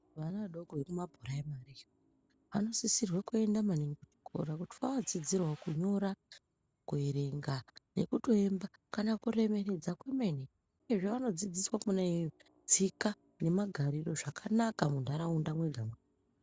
Ana adoko eku mapuraimari iyo anosisirwe kuenda maningi kuchikora kuti aodzidzira wo kunyora, kuerenga neku toimba kana kuremekedza kwemene izvo vanod zidziswa khona iyoyo, tsika nemagariro zvakanaka muntharaunda mwega mwega.